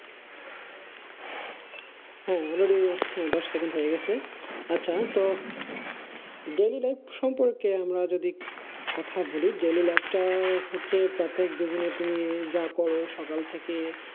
হ্যাঁ already দশ second হয়ে গিয়েছে আচ্ছা তো daily-life সম্পর্কে আমরা যদি কথা বলি daily-life টা হচ্ছে প্রত্যেক জীবনে তুমি যা করো সকাল থেকে